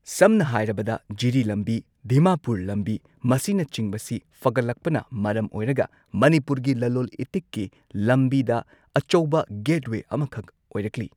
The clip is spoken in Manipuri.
ꯁꯝꯅ ꯍꯥꯏꯔꯕꯗ ꯖꯤꯔꯤ ꯂꯝꯕꯤ ꯗꯤꯃꯥꯄꯨꯔ ꯂꯝꯕꯤ ꯃꯁꯤꯅꯆꯤꯡꯕꯁꯤ ꯐꯒꯠꯂꯛꯄꯅ ꯃꯔꯝ ꯑꯣꯏꯔꯒ ꯃꯅꯤꯄꯨꯔꯒꯤ ꯂꯂꯣꯜ ꯏꯇꯤꯛꯀꯤ ꯂꯝꯕꯤꯗ ꯑꯆꯧꯕ ꯒꯦꯠꯋꯦ ꯑꯃꯈꯛ ꯑꯣꯏꯔꯛꯂꯤ